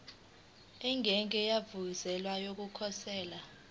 engeke yavuselelwa yokukhosela